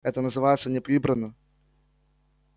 это называется не прибрано